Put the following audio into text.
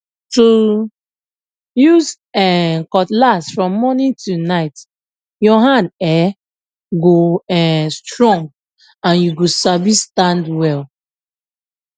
to use um cutlass from morning to night your hand um go um strong and you go sabi stand well